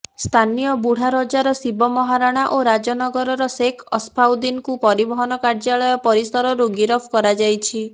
ସ୍ଥାନୀୟ ବୁଢ଼ାରଜାର ଶିବ ମହାରଣା ଓ ରାଜାନଗରର ଶେଖ ଅସଫାଉଦିନକୁ ପରିବହନ କାର୍ଯ୍ୟାଳୟ ପରିସରରୁ ଗିରଫ କରାଯାଇଛି